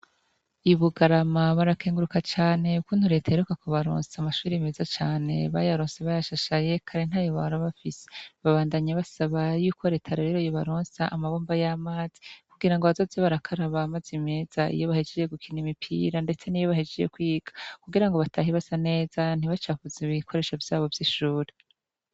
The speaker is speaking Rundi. Ibugarama barakenguruka cane ukuntu reta iheruka ku baronsa amashuri meza cane, bayaronse bayashashaye kare nta yo bara bafise ,babandanye basaba y'uko reta rero yo baronsa amabomba y'amazi kugira ngo abazoze barakaraba mazi meza, iyo bahejejye gukina imipira ,ndetse n'iyo bahejeje kwiga, kugira ngo batahe basa neza ntibacafuze bikoresho vyabo vy'ishuri.